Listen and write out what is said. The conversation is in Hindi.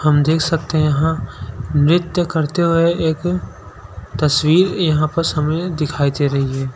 हम देख सकते हैं यहाँ नृत्य करते हुए एक तस्वीर यहाँ पास हमे दिखाई दे रही है।